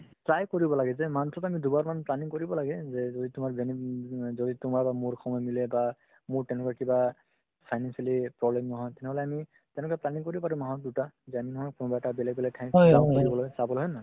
try কৰিব লাগে যে month ত আমি দুবাৰমান planning কৰিব লাগে যে যদি তোমাৰ যদি তোমাৰ আৰু মোৰ সময় মিলে বা মোৰ তেনেকুৱা কিবা financially problem নহয় তেনেহ'লে আমি তেনেকুৱা planning কৰিব পাৰো মাহত দুটা কোনোবা এটা বেলেগ বেলেগ ঠাইত ফুৰিবলৈ চাবলৈ হয় নে নহয়